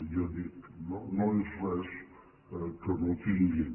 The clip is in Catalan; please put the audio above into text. ja dic no és res que no tinguin